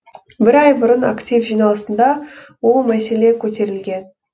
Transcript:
бір ай бұрын актив жиналысында ол мәселе көтерілген